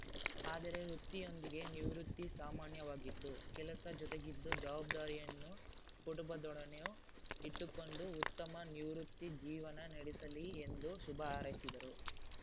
ಆದರೆ ವೃತ್ತಿಯೊಂದಿಗೆ ನಿವೃತ್ತಿ ಸಾಮಾನ್ಯವಾಗಿದ್ದು ಕೆಲಸ ಜೊತೆಗಿದ್ದು ಜವಾಬ್ದಾರಿಯನ್ನು ಕುಟುಂಬದೊಡನೆಯೂ ಇಟ್ಟುಕೊಂಡು ಉತ್ತಮ ನಿವೃತ್ತಿ ಜೀವನ ನಡೆಸಲಿ ಎಂದು ಶುಭ ಹಾರೈಸಿದರು